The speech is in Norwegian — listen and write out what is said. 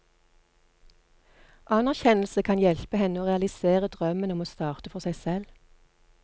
Anerkjennelse kan hjelpe henne å realisere drømmen om å starte for seg selv.